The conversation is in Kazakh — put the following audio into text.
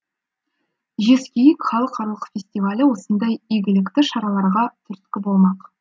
жезкииік халықаралық фестивалі осындай игілікті шараларға түрткі болмақ